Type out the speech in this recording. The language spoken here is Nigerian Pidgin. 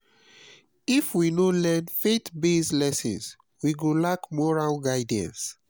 if we no learn faith-based lessons we go lack moral guidance.